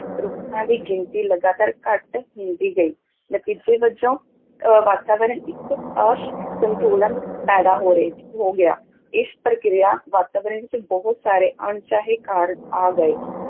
ਰੁੱਖਾਂ ਦੀ ਗਿਣਤੀ ਲਗਾਤਾਰ ਘੱਟ ਹੁੰਦੀ ਗਈ, ਨਤੀਜੇ ਵਜੋਂ ਅਹ ਵਾਤਾਵਰਨ ਇੱਕ ਅਸੰਤੁਲਨ ਪੈਦਾ ਹੋ ਰਹੇ ਹੋ ਗਿਆ, ਇਸ ਪ੍ਰਕਿਰਿਆ ਵਾਤਾਵਰਨ ਵਿੱਚ ਬਹੁਤ ਸਾਰੇ ਅਣਚਾਹੇ ਕਾਰਕ ਆ ਗਏ